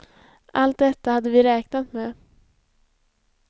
Allt detta hade vi räknat med.